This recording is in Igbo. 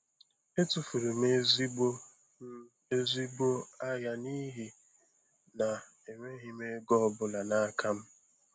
Etufuru m ezigbo m ezigbo ahịa n'ihi na enweghị m ego ọ bụla n'aka m.